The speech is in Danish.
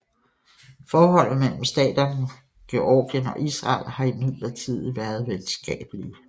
Forholdet mellem staterne Georgien og Israel har imidlertid været venskabelige